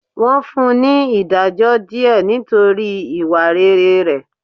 Wọ́n fún ní ìdájọ́ díẹ̀ nítorí ìwà rere rẹ̀.